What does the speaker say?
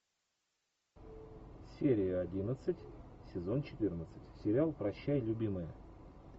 серия одиннадцать сезон четырнадцать сериал прощай любимая